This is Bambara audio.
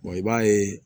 i b'a ye